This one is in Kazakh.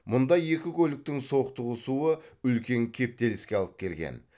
мұнда екі көліктің соқтығысуы үлкен кептеліске алып келген